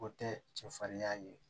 O tɛ cɛ farinya ye